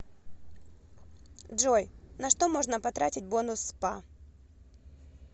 джой на что можно потратить бонус спа